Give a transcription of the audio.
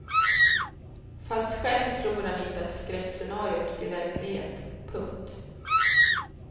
Fast själv tror han inte att skräckscenariot blir verklighet. punkt